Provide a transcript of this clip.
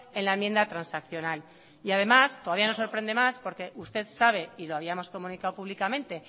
en la enmienda transaccional y además todavía nos sorprende más porque usted sabe y lo habíamos comunicado públicamente